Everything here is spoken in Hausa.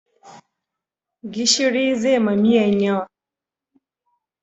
Gishiri zai ma miyan yawa